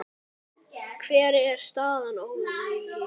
Hver er staðan Ólafía?